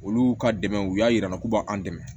Olu ka dɛmɛ u y'a jira an na k'u b'an dɛmɛ